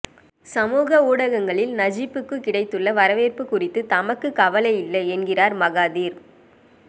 சமூக ஊடகங்களில் நஜிப்புக்கு கிடைத்துள்ள வரவேற்பு குறித்து தமக்கு கவலை இல்லை என்கிறார் மகாதீர்